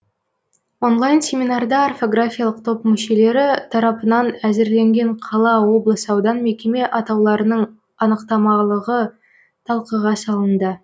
онлайн семинарда орфографиялық топ мүшелері тарапынан әзірленген қала облыс аудан мекеме атауларының анықтамалығы талқыға салынды